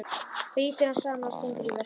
Brýtur hann saman og stingur í veskið.